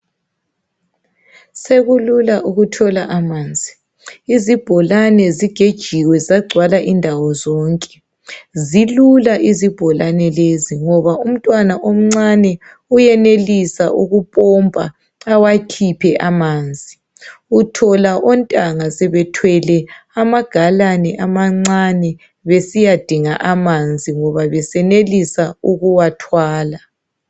Sekulula ukuthola amanzi izibholane zigejiwe zagcwala indawo zonke. Zilula izibholane lezi ngoba umntwana omncane uyenelisa ukupompa awakhiphe amanzi. Uthola ontanga sebethwele amagalane amancane bsiyadinga amanzi ngoba besenelisa ukuwathwala.